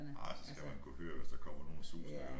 Nej så skal man kunne høre hvis der kommer nogen susende